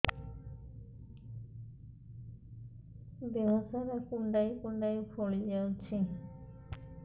ଦେହ ସାରା କୁଣ୍ଡାଇ କୁଣ୍ଡାଇ ଫଳି ଯାଉଛି